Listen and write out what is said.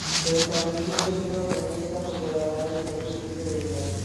Mbeca nyingĩ nĩ ĩronganio cia kũgũra ngaari cia gũteithĩrĩria andũ